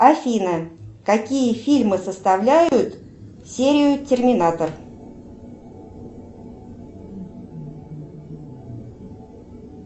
афина какие фильмы составляют серию терминатор